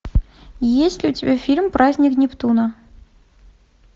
есть ли у тебя фильм праздник нептуна